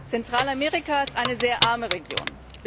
Zentralamerika ist eine sehr arme Region.